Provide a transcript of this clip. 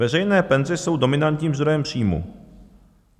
Veřejné penze jsou dominantním zdrojem příjmu.